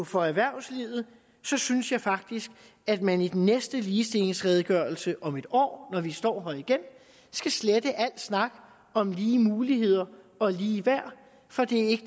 for erhvervslivet synes jeg faktisk at man i den næste ligestillingsredegørelse om et år når vi står her igen skal slette al snak om lige muligheder og ligeværd for det er ikke